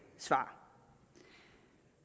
svar